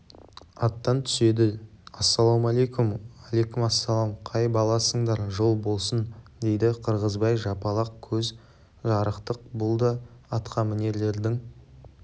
аттан түседі ассалаума-әлейкум әліксалам қай баласыңдар жол болсын дейді қырғызбай жапалақ көз жарықтық бұл да атқамінерлерден